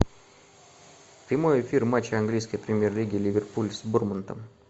прямой эфир матча английской премьер лиги ливерпуль с борнмутом